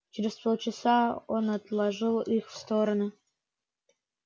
через полчаса он отложил их в сторону